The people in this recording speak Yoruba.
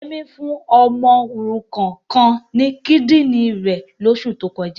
Yẹmí fún ọmọ òrukan kan ní kídìrín rẹ̀ lóṣù tó kọjá.